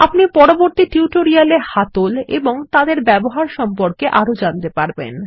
আপনি পরবর্তী টিউটোরিয়াল এ হাতল এবং তাদের ব্যবহার সম্পর্কে আরো জানতে পারবেন